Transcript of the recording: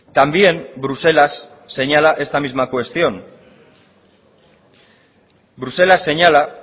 también bruselas señala esta misma cuestión bruselas señala